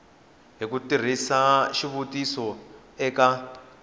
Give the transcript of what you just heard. hi ku tirhisa xitiviso eka